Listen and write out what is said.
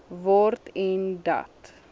word en dat